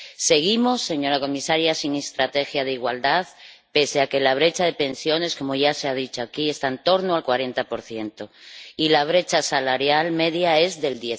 Seguimos, señora comisaria, sin estrategia de igualdad, pese a que la brecha de pensiones —como ya se ha dicho aquí— está en torno al 40 y la brecha salarial media es del